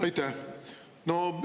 Aitäh!